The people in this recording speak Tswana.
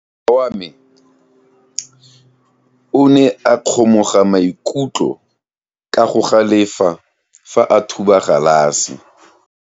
Morwa wa me o ne a kgomoga maikutlo ka go galefa fa a thuba galase.